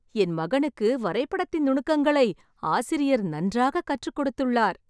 என் மகனுக்கு வரைபடத்தின் நுணுக்கங்களை ஆசிரியர் நன்றாக கற்றுக் கொடுத்துள்ளார்